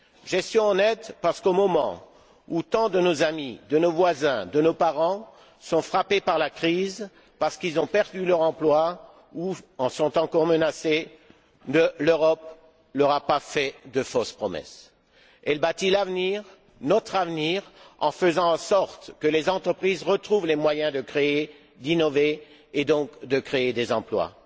Gestion honnête parce qu'au moment où tant de nos amis, voisins ou parents sont frappés par la crise parce qu'ils ont perdu leur emploi ou en sont encore menacés, l'Europe ne leur a pas fait de fausses promesses. Elle bâtit l'avenir, notre avenir, en faisant en sorte que les entreprises retrouvent les moyens de créer, d'innover et donc de créer des emplois.